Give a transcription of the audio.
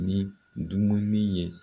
Ni dumunin ye